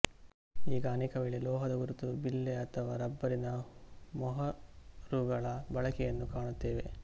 ಈಗ ಅನೇಕವೇಳೆ ಲೋಹದ ಗುರುತು ಬಿಲ್ಲೆ ಅಥವಾ ರಬ್ಬರಿನ ಮೊಹರುಗಳ ಬಳಕೆಯನ್ನು ಕಾಣುತ್ತೇವೆ